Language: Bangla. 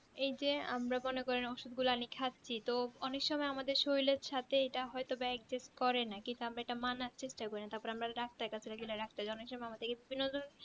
এই যে আমরা মনে করেন ওষুধগুলা এনে খাচ্ছি তো অনেকসময় আমাদের শরীরে সাথে হয়তো এটা adjust করে না কিন্তু এটা আমরা মানার চেষ্টা করি না তারপরে আমরা ডাক্তার এর কাছে গেলে ডাক্তার অনেক সময় আমাদেরকে